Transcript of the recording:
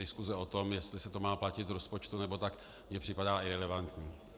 Diskuse o tom, jestli se to má platit z rozpočtu, nebo ne, mi připadá irelevantní.